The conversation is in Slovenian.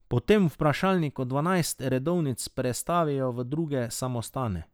Po tem vprašalniku dvanajst redovnic prestavijo v druge samostane.